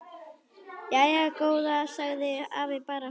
Jæja góða sagði afi bara.